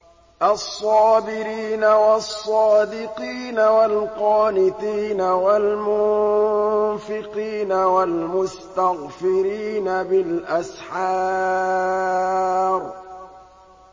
الصَّابِرِينَ وَالصَّادِقِينَ وَالْقَانِتِينَ وَالْمُنفِقِينَ وَالْمُسْتَغْفِرِينَ بِالْأَسْحَارِ